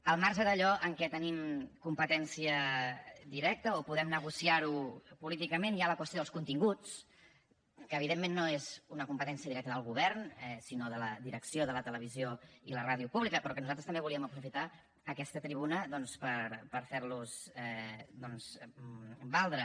al marge d’allò amb què tenim competència directa o podem negociar ho políticament hi ha la qüestió dels continguts que evidentment no és una competència directa del govern sinó de la direcció de la televisió i la ràdio públiques però que nosaltres també volíem aprofitar aquesta tribuna doncs per fer los valdre